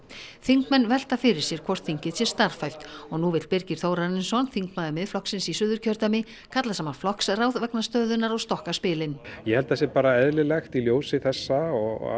þingmenn velta fyrir sér hvort þingið sé starfhæft og nú vill Birgir Þórarinsson þingmaður Miðflokksins í Suðurkjördæmi kalla saman flokksráð vegna stöðunnar og stokka spilin ég held að það sé bara eðlilegt í ljósi þessa